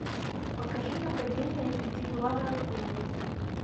покажи нападение пятиглавой акулы